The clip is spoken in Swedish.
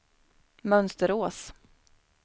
Mönsterås